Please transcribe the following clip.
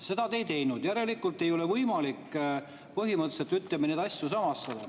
Seda te ei teinud, järelikult ei ole võimalik põhimõtteliselt, ütleme, neid asju samastada.